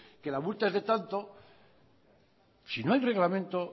que la multa es de tanto si no hay reglamento